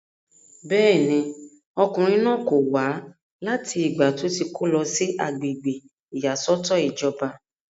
bẹ́ẹ̀ni, ọkùnrin náà kò wá láti ìgbà tó ti kó lọ sí agbègbè ìyàsọ́tọ̀ ìjọba